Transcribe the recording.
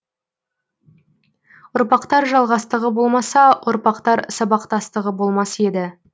ұрпақтар жалғастығы болмаса ұрпақтар сабақтастығы болмас еді